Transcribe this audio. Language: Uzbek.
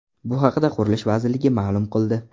Bu haqda Qurilish vazirligi ma’lum qildi .